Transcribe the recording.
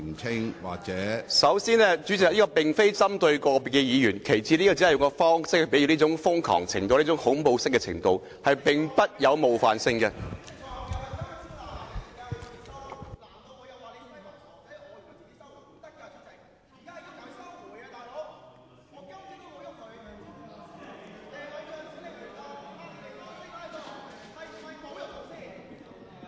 主席，首先，這句話並非針對個別議員；其次，這句話只是比喻他們"拉布"的瘋狂和恐怖程度，並沒有冒犯性。